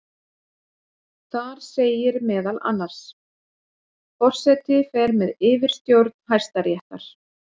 Þar segir meðal annars: Forseti fer með yfirstjórn Hæstaréttar.